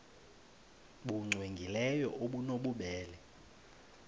nbu cwengileyo obunobubele